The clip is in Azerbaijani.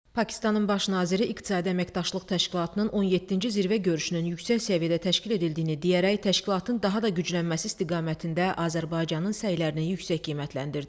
Pakistanın Baş naziri iqtisadi əməkdaşlıq təşkilatının 17-ci zirvə görüşünün yüksək səviyyədə təşkil edildiyini deyərək təşkilatın daha da güclənməsi istiqamətində Azərbaycanın səylərini yüksək qiymətləndirdi.